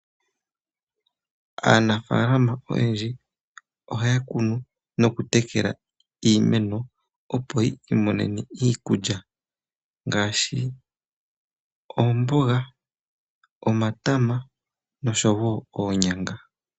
Aanafalama oyendji ohaya kunu noku tekela iimeno, opo yi imonene iikulya ngashi oomboga, omatama oshowo onyanga.